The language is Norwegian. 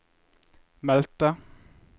meldte